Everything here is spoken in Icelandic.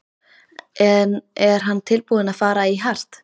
En er hann tilbúinn að fara í hart?